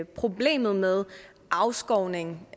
problemet med afskovning